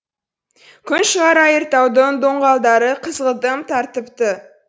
күн шығар айыртаудың доңғалдары қызғылтым тартыпты